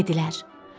Dedilər: